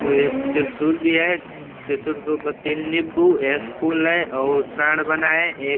एक त्रिशूल भी है। त्रिशूल के ऊपर तीन निम्बू और एक फूल है और एक साड़ बना है एक।